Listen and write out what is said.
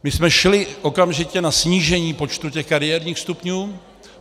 My jsme šli okamžitě na snížení počtu těch kariérních stupňů.